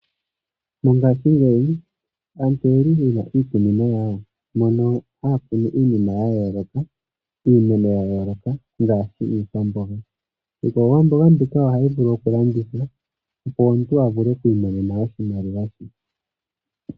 Mongaashingeyi aantu oyeli yena iikunino yawo mono haya kunu iinima ya yooloka, iimeno ya yooloka ngaashi iikwamboga. Iikwamboga mbika ohayi vulu okulandithwa opo omuntu avule oku imonena oshimaliwa she.